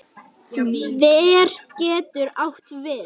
Ver getur átt við